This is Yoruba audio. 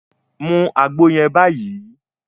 Mú àgbo yẹn báyìí!